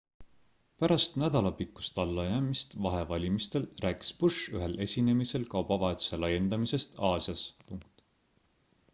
pärast nädalapikkust allajäämist vahevalimistel rääkis bush ühel esinemisel kaubavahetuse laiendamisest aasias